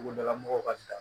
Togodala mɔgɔw ka